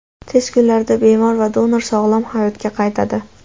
Tez kunlarda bemor va donor sog‘lom hayotga qaytadi.